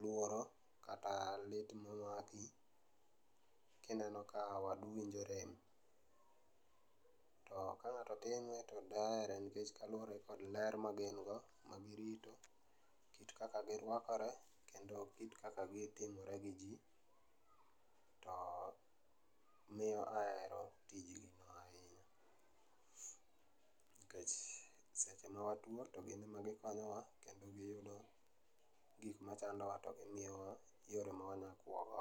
luoro kata lit maki kineno ka wadu winjo rem to ka ng'ato time to dahere nikech kaluore kod ler magin go ma girito, kit kaka girwakore kendo kit kaka gitimore gi jii to miyo ahero tijni ahinya nikech seche ma atuo to gin ma gikonyowa kendo giyudo gik machandowa to gimiyowa yore ma wanya kuo go